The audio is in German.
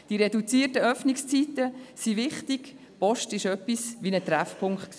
Die reduzierten Öffnungszeiten sind wichtig, die Post war so etwas wie ein Treffpunkt.